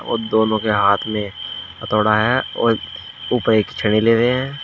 और दोनों के हाथ में हथोड़ा है और ऊपर एक छेनी ले रहे हैं।